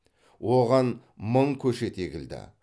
оған мың көшет егілді